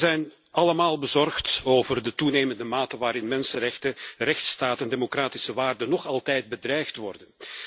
Wij zijn allemaal bezorgd over de toenemende mate waarin mensenrechten, rechtsstaat en democratische waarden nog altijd bedreigd worden.